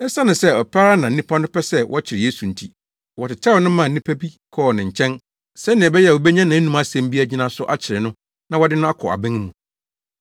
Esiane sɛ ɔpɛ ara na na nnipa no pɛ sɛ wɔkyere Yesu nti, wɔtetɛw no maa nnipa bi kɔɔ ne nkyɛn, sɛnea ɛbɛyɛ a wobenya nʼanom asɛm bi agyina so akyere no na wɔde no akɔ aban mu.